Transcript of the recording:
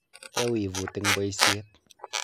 Yaa wivut eng boisiet.